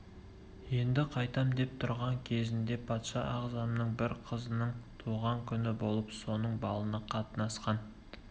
енді қайтам деп тұрған кезінде патша ағзамның бір қызының туған күні болып соның балына қатынасқан